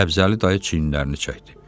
Səbzəli dayı çiyinlərini çəkdi.